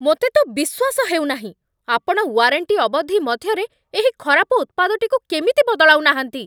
ମୋତେ ତ ବିଶ୍ଵାସ ହେଉନାହିଁ, ଆପଣ ୱାରେଣ୍ଟି ଅବଧି ମଧ୍ୟରେ ଏହି ଖରାପ ଉତ୍ପାଦଟିକୁ କେମିତି ବଦଳାଉ ନାହାଁନ୍ତି?